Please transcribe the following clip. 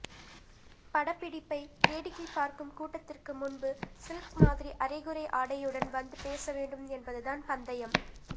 படப்பிடிப்பை வேடிக்கைப் பார்க்கும் கூட்டத்திற்கு முன்பு சில்க் மாதிரி அறைகுறை ஆடையுடன் வந்து பேசவேண்டும் என்பது தான் பந்தயம்